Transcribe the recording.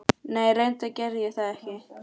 Nei reyndar gerði ég það ekki.